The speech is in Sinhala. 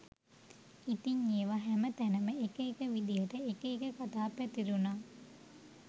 ඉතිං ඒව හැම තැනම එක එක විදියට එක එක කතා පැතිරුණා